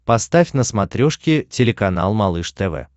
поставь на смотрешке телеканал малыш тв